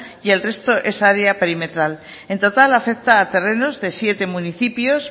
y el resto es área perimetral en total afecta a terrenos de siete municipios